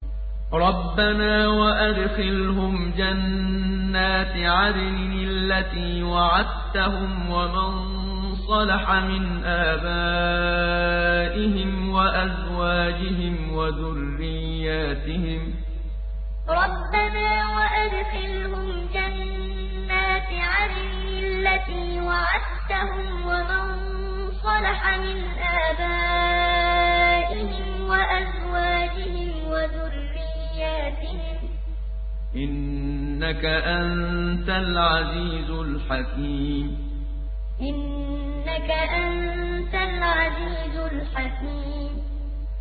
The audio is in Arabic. رَبَّنَا وَأَدْخِلْهُمْ جَنَّاتِ عَدْنٍ الَّتِي وَعَدتَّهُمْ وَمَن صَلَحَ مِنْ آبَائِهِمْ وَأَزْوَاجِهِمْ وَذُرِّيَّاتِهِمْ ۚ إِنَّكَ أَنتَ الْعَزِيزُ الْحَكِيمُ رَبَّنَا وَأَدْخِلْهُمْ جَنَّاتِ عَدْنٍ الَّتِي وَعَدتَّهُمْ وَمَن صَلَحَ مِنْ آبَائِهِمْ وَأَزْوَاجِهِمْ وَذُرِّيَّاتِهِمْ ۚ إِنَّكَ أَنتَ الْعَزِيزُ الْحَكِيمُ